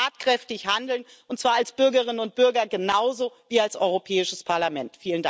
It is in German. Wir müssen tatkräftig handeln, und zwar als Bürgerinnen und Bürger genauso wie als Europäisches Parlament.